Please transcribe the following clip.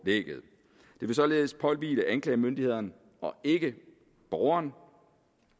det vil således påhvile anklagemyndighederne og ikke borgeren